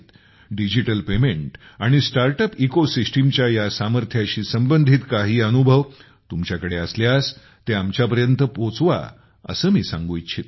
digital payment आणि startup इकोसिस्टमच्या या सामर्थ्याशी संबंधित काही अनुभव तुमच्याकडे असल्यास ते आमच्यापर्यंत पोहोचवा असे मी सांगू इच्छितो